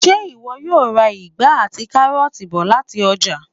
Ṣé ìwọ yóò ra ìgbá àti káróọ̀ti bọ̀ lati ọ́jà?